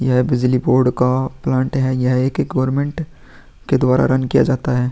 यह बिजली बोर्ड का प्लांट है। यह एक गवर्नमेंट के द्वारा रन किया जाता है।